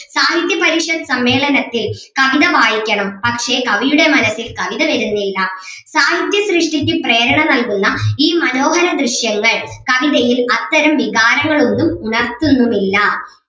സാഹിത്യപരീക്ഷത് സമ്മേളനത്തിൽ കവിത വായിക്കണം പക്ഷേ കവിയുടെ മനസ്സിൽ കവിത വരുന്നില്ല സാഹിത്യ സൃഷ്ടിക്ക് പ്രേരണ നൽകുന്ന ഈ മനോഹര ദൃശ്യങ്ങൾ കവിതയിൽ അത്തരം വികാരങ്ങൾ ഒന്നും ഉണർത്തുന്നുമില്ല.